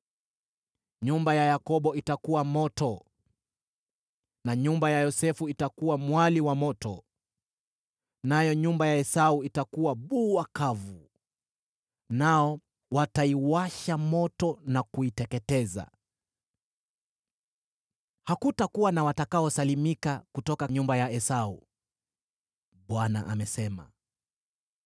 Nyumba ya Yakobo itakuwa moto, na nyumba ya Yosefu itakuwa mwali wa moto; nayo nyumba ya Esau itakuwa bua kavu, nao wataiwasha moto na kuiteketeza. Hakutakuwa na watakaosalimika kutoka nyumba ya Esau.” Bwana amesema.